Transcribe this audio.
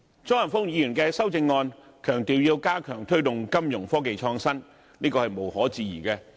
張華峰議員的修正案強調要加強推動金融科技創新，這是無可置疑的。